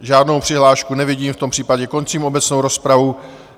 Žádnou přihlášku nevidím, v tom případě končím obecnou rozpravu.